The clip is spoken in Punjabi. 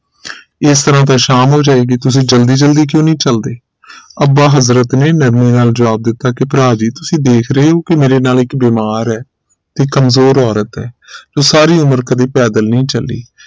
ਇਸ ਤਰਾਹ ਤਾਂ ਸ਼ਾਮ ਹੋ ਜਾਏਗੀ ਤੁਸੀਂ ਜਲਦੀ ਜਲਦੀ ਕਿਉਂ ਨਹੀਂ ਚਲਦੇ ਅੱਬਾ ਹਜ਼ਰਤ ਨੇ ਨਰਮੇ ਨਾਲ ਜਵਾਬ ਦਿੱਤਾ ਕਿ ਭਰਾ ਜੀ ਤੁਸੀਂ ਦੇਖ ਰਹੇ ਹੋ ਕਿ ਮੇਰੇ ਨਾਲ ਇਕ ਬੀਮਾਰ ਹੈ ਇਹ ਕਮਜ਼ੋਰ ਔਰਤ ਹੈ ਤੇ ਸਾਰੀ ਉਮਰ ਕਦੇ ਪੈਦਲ ਨਹੀਂ ਚਲੀ